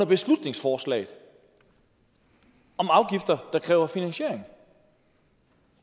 beslutningsforslag om afgifter der kræver finansiering